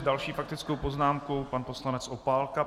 S další faktickou poznámkou pan poslanec Opálka.